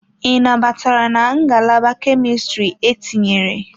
Ị nabatara na Ngalaba Kemistri etinyere?